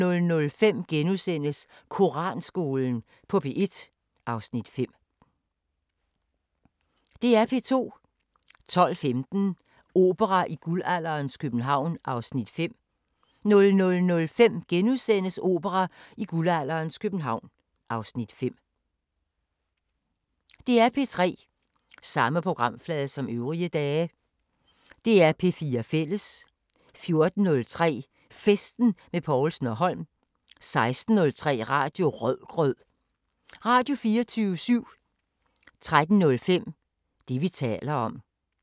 05:05: Vagn på floden (7:11) 05:45: Havets Fuldblod (1:2) 06:15: Kongerigets kager (10:12) 07:30: Søren Ryge direkte * 08:00: Skattejægerne * 08:30: Marta & Guldsaksen (2:4)* 09:00: En ny begyndelse II (Afs. 5) 09:45: Downton Abbey V (10:10)* 10:30: Antikkrejlerne (Afs. 2) 11:00: Antikkrejlerne med kendisser (Afs. 3)